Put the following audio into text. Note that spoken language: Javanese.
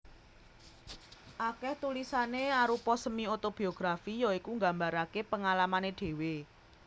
Akèh tulisané arupa semi otobiografi ya iku nggambaraké pengalamané dhéwé